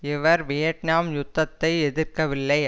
இவர் வியட்நாம் யுத்தத்தை எதிர்க்கவில்லை